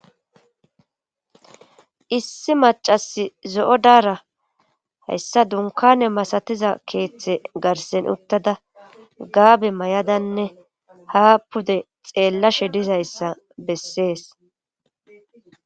issi macasi zo7o daara hayssa dunkane masatiza keeththe garsen uttada gaabe may7adanne ha pude xeellashe dizayssa bessees